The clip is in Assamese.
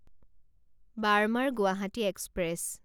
বাৰ্মাৰ গুৱাহাটী এক্সপ্ৰেছ